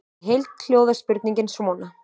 Í heild hljóðar spurningin svona: